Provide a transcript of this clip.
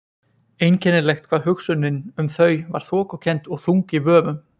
Einkennilegt hvað hugsunin um þau var þokukennd og þung í vöfum.